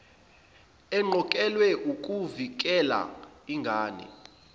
eqokelwe ukuvikela ingane